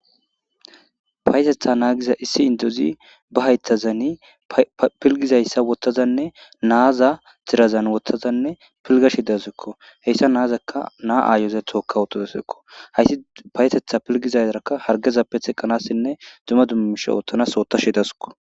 Payetetha naagiza issi indozi ba haytazani pilgizayssa wottazanne naaza tirazan wotazanne pilgashi dasekko heyssa naazakka naa aayozethooka wotadasekko hayssi payetetha pilgizayarakka hargezappe teqqanassinne duma dummisha oottanas ootashi dasiko.